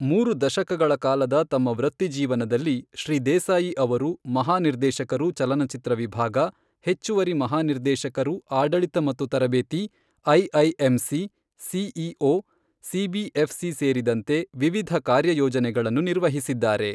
ಮೂರು ದಶಕಗಳ ಕಾಲದ ತಮ್ಮ ವೃತ್ತಿಜೀವನದಲ್ಲಿ, ಶ್ರೀ ದೇಸಾಯಿ ಅವರು ಮಹಾನಿರ್ದೇಶಕರು ಚಲನಚಿತ್ರ ವಿಭಾಗ, ಹೆಚ್ಚುವರಿ ಮಹಾನಿರ್ದೇಶಕರು ಆಡಳಿತ ಮತ್ತು ತರಬೇತಿ, ಐಐಎಂಸಿ, ಸಿಇಒ, ಸಿಬಿಎಫ್ಸಿ ಸೇರಿದಂತೆ ವಿವಿಧ ಕಾರ್ಯಯೋಜನೆಗಳನ್ನು ನಿರ್ವಹಿಸಿದ್ದಾರೆ.